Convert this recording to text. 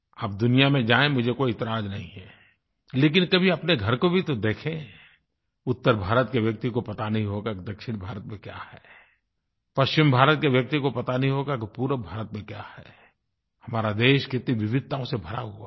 आप दुनिया में जायें मुझे कोई एतराज़ नहीं है लेकिन कभी अपने घर को भी तो देखें उत्तरभारत के व्यक्ति को पता नहीं होगा कि दक्षिणभारत में क्या है पश्चिमभारत के व्यक्ति को पता नहीं होगा कि पूर्वभारत में क्या है हमारा देश कितनी विविधताओं से भरा हुआ है